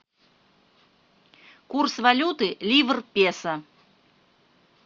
курс валюты ливр песо